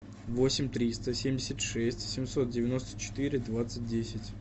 восемь триста семьдесят шесть семьсот девяносто четыре двадцать десять